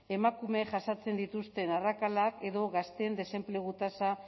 emakumeek jasaten dituzten arrakalak edo gazteen desenplegu tasa